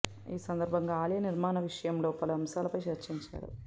ఈ సందర్భంగా ఆలయ నిర్మాణ విషయంలో పలు అంశాలపై చర్చించారు